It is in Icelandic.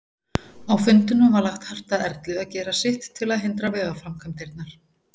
Á fundinum var lagt hart að Erlu að gera sitt til að hindra vegaframkvæmdirnar.